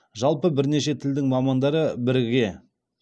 жалпы бірнеше тілдің мамандары біріге